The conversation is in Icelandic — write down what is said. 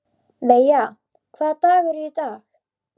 Veiga, hvaða dagur er í dag?